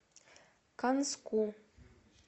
канску